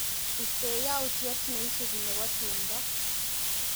Istee yautyet neisupi nebo tumndo.